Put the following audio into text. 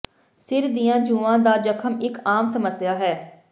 ਸਿਰ ਦੀਆਂ ਜੂਆਂ ਦਾ ਜਖਮ ਇੱਕ ਆਮ ਸਮੱਸਿਆ ਹੈ